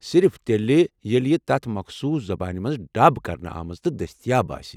صرف تیلہِ ییلہِ یہِ تتھ مخصوص زبٲنہِ منز ڈب كرنہٕ آمٕژ تہٕ دستیاب آسہِ ۔